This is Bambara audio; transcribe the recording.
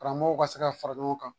Karamɔgɔw ka se ka fara ɲɔgɔn kan